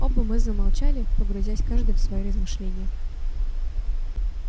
оба мы замолчали погрузясь каждый в свои размышления